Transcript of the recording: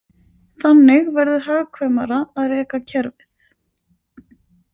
Þannig verður hagkvæmara að reka kerfið.